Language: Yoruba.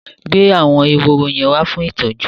Gbé àwọn ehoro yẹn wá fún ìtọ́jú!